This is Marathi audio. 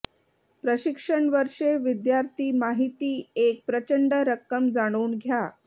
प्रशिक्षण वर्षे विद्यार्थी माहिती एक प्रचंड रक्कम जाणून घ्या